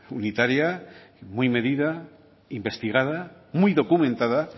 unitaria muy medida investigada muy documentada